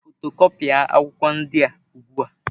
Fotokọpia akwụkwọ ndị a ugbu a!